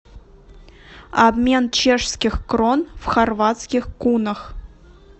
обмен чешских крон в хорватских кунах